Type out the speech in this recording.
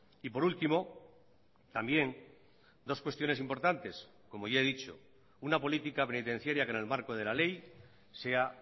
y por último también dos cuestiones importantes como ya he dicho una política penitenciaria que en el marco de la ley sea